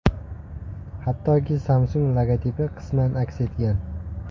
Hattoki Samsung logotipi qisman aks etgan.